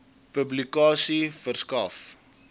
publikasie verskaf